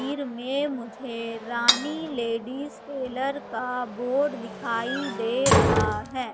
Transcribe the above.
वीर में मुझे Rani ladies tailor का बोर्ड दिखाई दे रहा है।